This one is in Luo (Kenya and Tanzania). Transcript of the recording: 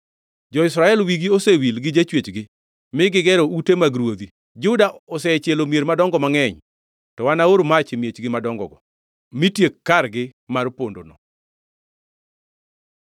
Jo-Israel wigi osewil gi Jachwechgi, mi gigero ute mag ruodhi; Juda osechielo mier madongo mangʼeny. To anaor mach e miechgi madongogo mitiek kargi mar pondono.”